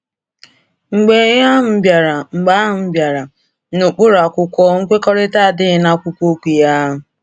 Mgbe a bịara Mgbe a bịara n’ụkpụrụ akwụkwọ, ‘nkwekọrịta’ adịghị n’akwụkwọ okwu ya.